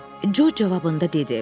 Co cavabında dedi: